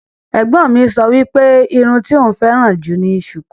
Ẹ̀gbọ́n mi sọ wípé irun tí òún féràn jù ni sùkú.